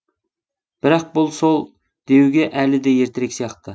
бірақ бұл сол деуге әлі де ертерек сияқты